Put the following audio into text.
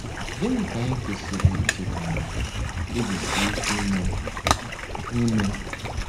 Gịnị ka anyị kwesịrị icheta ma kpebisie ike ime? ime?